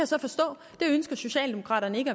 så forstå socialdemokraterne ikke